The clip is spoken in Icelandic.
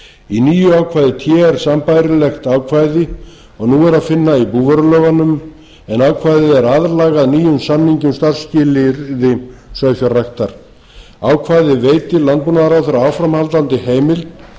í nýju ákvæði t er sambærilegt ákvæði og nú er að finna í búvörulögunum en ákvæðið er aðlagað nýjum samningi um starfsskilyrði sauðfjárræktar ákvæðið veitir landbúnaðarráðherra áframhaldandi heimild